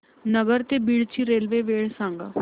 नगर ते बीड ची रेल्वे वेळ सांगा